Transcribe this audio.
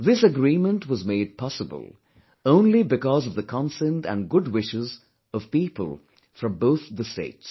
This agreement was made possible only because of the consent and good wishes of people from both the states